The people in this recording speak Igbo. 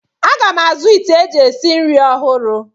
Aga m azụ ite eji esi nri ọhụrụ.